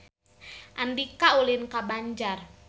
Andika ulin ka Banjar